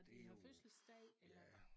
Det er jo ja